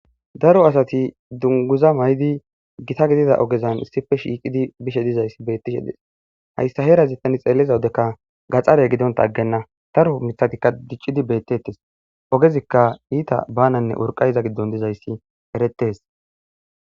Daro asati dunguza may7di gita gidida ogezan issife shiiqidi bishe dizayssi bettishe dees hayssa heerazittani xeelliza wudekka gaxxare gidonta aggenna daro mithatikka diccidi beettettes ogezikka iita bananne urqayiza giddon dizayssi erettes